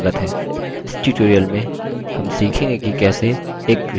इस tutorial में हम सीखेंगे कि कैसे